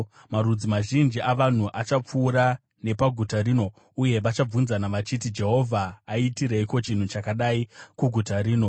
“Marudzi mazhinji avanhu achapfuura nepaguta rino uye vachabvunzana vachiti, ‘Jehovha aitireiko chinhu chakadai kuguta rino?’